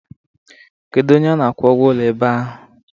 Kedu onye a na-akwụ ụgwọ ụlọ ebe ahụ?